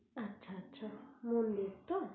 আচ্ছা আচ্ছা মন্দির তো